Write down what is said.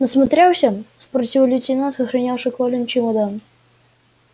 насмотрелся спросил лейтенант охранявший колин чемодан